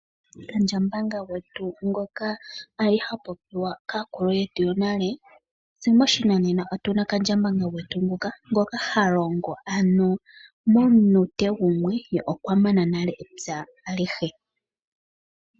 Kandjambanga gwetu ngoka ali ha popiwa kaakulu yetu yonale tse moshinanena otuna kandjambanga gwetu nguka ngoka halongo ano mo minute gumwe ye okwa mana nale epya alihe.